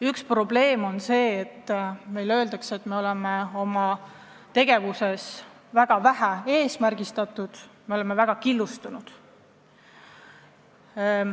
Üks probleem on see, nagu meile öeldud on, et me oleme oma tegevuses väga vähe eesmärgistatud ja väga killustunud.